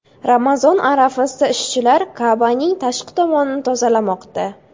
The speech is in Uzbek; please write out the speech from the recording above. Ramazon arafasida ishchilar Ka’baning tashqi tomonini tozalamoqda.